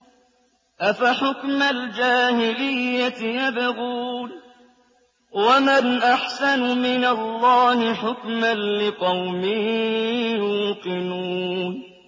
أَفَحُكْمَ الْجَاهِلِيَّةِ يَبْغُونَ ۚ وَمَنْ أَحْسَنُ مِنَ اللَّهِ حُكْمًا لِّقَوْمٍ يُوقِنُونَ